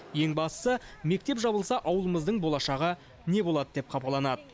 ең бастысы мектеп жабылса ауылымыздың болашағы не болады деп қапаланады